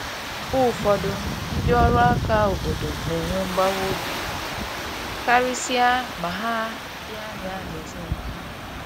Mgbe ụfọdụ, ndị ọrụ aka obodo na enwe mgbawa obi, karịsịa ma ha dị anya n’ezinụlọ ha.